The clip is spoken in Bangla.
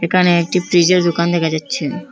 একানে একটি প্রিজের দোকান দেখা যাচ্ছে।